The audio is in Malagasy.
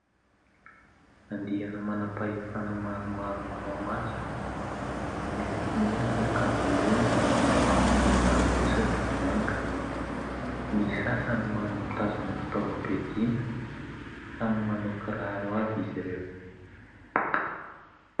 Andiana manam-pahefana maromaro manao matso. Miloko mena ny akanjo amboniny, ny ambany kosa dia manga, ny sasany mitazona fitaovam-piadiana. Samy manao kiraro avy izy ireo.